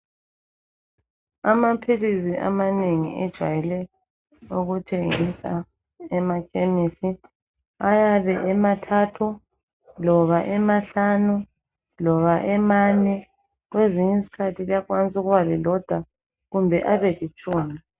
Amaphilisi amanengi ejayelwe ukuthengisa emakhemisi ayabe emathathu loba emahlanu loba emane kwezinye isikhathi liyakwanisa uba lilodwa kumbe abelitshumi